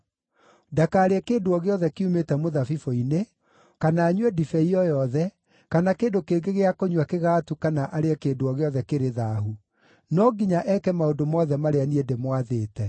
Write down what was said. Ndakarĩe kĩndũ o gĩothe kiumĩte mũthabibũ-inĩ, kana anyue ndibei o yothe, kana kĩndũ kĩngĩ gĩa kũnyua kĩgagatu kana arĩe kĩndũ o gĩothe kĩrĩ thaahu. No nginya eeke maũndũ mothe marĩa niĩ ndĩmwathĩte.”